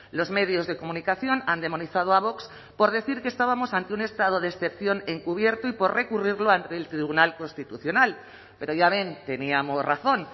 los medios de comunicación han demonizado a vox por decir que estábamos ante un estado de excepción encubierto y por recurrirlo ante el tribunal constitucional pero ya ven teníamos razón